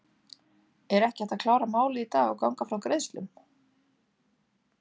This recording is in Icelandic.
Er ekki hægt að klára málið í dag og ganga frá greiðslum?